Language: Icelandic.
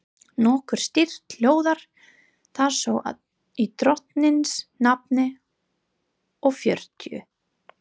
Nokkuð stytt hljóðar það svo í drottins nafni og fjörutíu